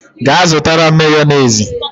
Ga zutara m Mayonezi!